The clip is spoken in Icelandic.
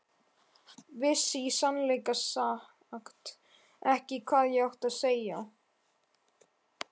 Vissi í sannleika sagt ekki hvað ég átti að segja.